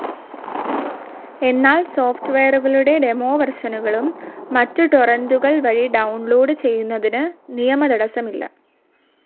എന്നാൽ സോഫ്റ്റ്‌ വെയറുകളുടെ ഡെമോവേർഷനുകളും മറ്റും ടൊറെൻ്റുകൾ വഴി ഡൌൺലോഡ്‌ ചെയ്യുന്നതിന് നിയമതടസ്സം ഇല്ല.